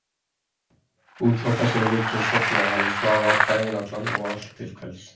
Út frá þessari hugsun sofnaði hann og svaf daginn allan og allt til kvelds.